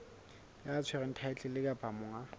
ya tshwereng thaetlele kapa monga